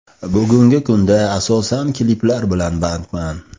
Bugungi kunda asosan kliplar bilan bandman.